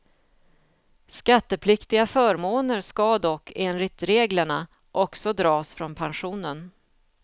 Skattepliktiga förmåner ska dock, enligt reglerna, också dras från pensionen.